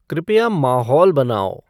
कृपया माहौल बनाओ